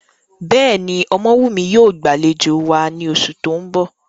Bẹ́ẹ̀ni, Omowumi yóò gbalejo wa ni oṣu ti n bọ.